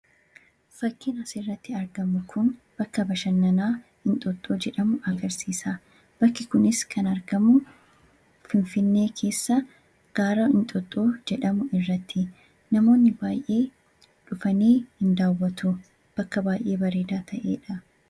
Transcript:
Fakkiin asirratti argamu kun bakka bashanannaa 'Inxooxxoo' jedhamu agarsiisa. Bakki kunis kan argamu Finfinnee keessa gaara Inxooxxoo jedhamu irratti. Namoonni baay'een dhufanii ni daawwatu. Bakka baay'ee bareedaa ta'eedha.